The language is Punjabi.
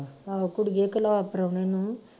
ਆਹੋ ਕੁੜੀਏ ਘਲਾ ਪਰੌਣੇ ਨੂੰ